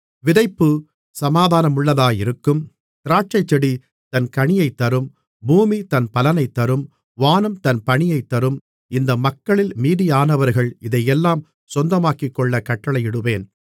விதைப்பு சமாதானமுள்ளதாயிருக்கும் திராட்சைச்செடி தன் கனியைத் தரும் பூமி தன் பலனைத் தரும் வானம் தன் பனியைத் தரும் இந்த மக்களில் மீதியானவர்கள் இதையெல்லாம் சொந்தமாக்கிக்கொள்ள கட்டளையிடுவேன்